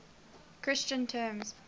christian terms